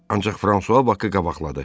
Ancaq Fransua Bakı qabaqladı.